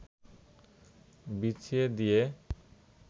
বিছিয়ে দিয়ে